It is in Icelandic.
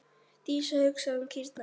Dísa hugsaði um kýrnar.